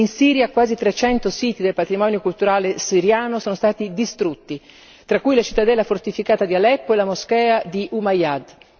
In Siria quasi 300 siti del patrimonio culturale siriano sono stati distrutti, tra cui la cittadella fortificata di Aleppo e la moschea degli Omayyadi.